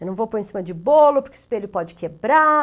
Eu não vou pôr em cima de bolo, porque o espelho pode quebrar.